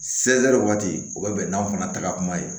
waati u bɛ bɛn n'aw fana ta kuma ye